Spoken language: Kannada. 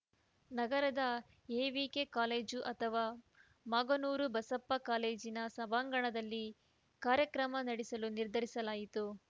ನಗರದ ಎವಿಕೆ ಕಾಲೇಜು ಅಥವಾ ಮಾಗನೂರು ಬಸಪ್ಪ ಕಾಲೇಜಿನ ಸಭಾಂಗಣದಲ್ಲಿ ಕಾರ್ಯಕ್ರಮ ನಡೆಸಲು ನಿರ್ಧರಿಸಲಾಯಿತು